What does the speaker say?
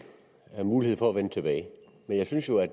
mulighed for at vende tilbage jeg synes jo at